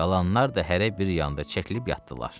Qalanlar da hərə bir yana çəkilib yatdılar.